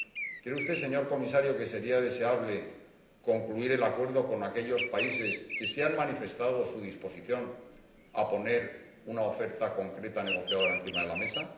¿Cree usted, señor Comisario, que sería deseable concluir el acuerdo con aquellos países que sí han manifestado su disposición a poner una oferta concreta negociadora encima de la mesa?